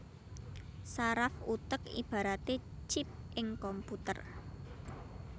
Saraf utek ibaraté chip ing komputer